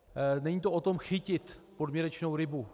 Není to o tom chytit podměrečnou rybu.